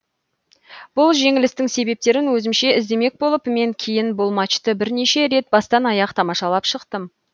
бұл жеңілістің себептерін өзімше іздемек болып мен кейін бұл матчты бірнеше рет бастан аяқ тамашалап шықтым